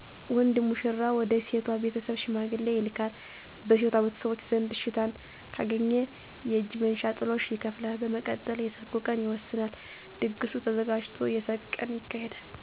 ወንዱ ሙሽራ ወደ ሴቷ ቤተሰብ ሽማግሌ ይልካል። በሴቷ ቤተሰቦች ዘንድ እሽታን ካገኘ የእጅ መንሻ (ጥሎሽ) ይከፍላል። በመቀጠል የሰርጉ ቀን ይወሰናል። ድግሱ ተዘጋጅቶ የሰርግ ቀን ይካሄዳል።